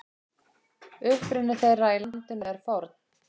Uppruni þeirra í landinu er forn.